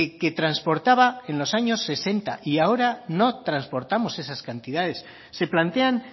que transportaba e los años sesenta y ahora no transportamos esas cantidades se plantean